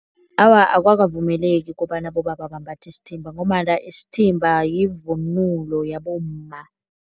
Awa, akukavumeleki kobana abobaba bambathe isithimba ngombana isithimba yivunulo yabomma.